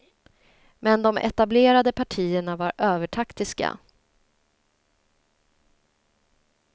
Men de etablerade partierna var övertaktiska.